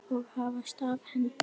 og hafa staf í hendi.